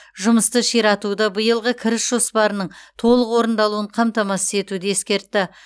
жұмысты ширатуды биылғы кіріс жоспарының толық орындалуын қамтамасыз етуді ескертті